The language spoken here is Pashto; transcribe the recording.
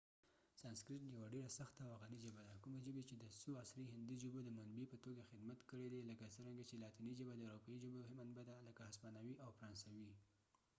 سانسکریت یوه ډیره سخته او غنی ژبه ده کومي ژبی چې د څو عصری هندي ژبو د منبع په توګه خدمت کړي دي لکه څرنګه چې لاتینی ژبه د اروپایې ژبو منبع ده لکه هسپانوي او فرانسوي